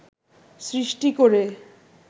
সৃষ্টি করে